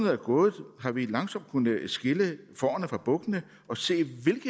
er gået har vi langsomt kunnet skille fårene fra bukkene og se